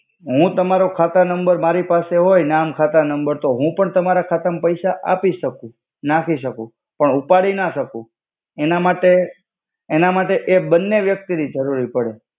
હુ તમાર ખાતા નમ્બર મારિ પાસે હોય તો હુ પણ તમારા ખાતા મા પૈસા આપિ સકુ નાખી સકુ પણ ઉપાડી ના સકુ એના માટે એ બને વ્યક્તિ નિ જરુરૈ પડે.